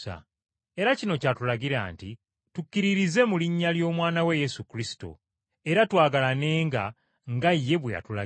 Era kino ky’atulagira nti, tukkiririze mu linnya ly’Omwana we Yesu Kristo, era twagalanenga nga ye bwe yatulagira.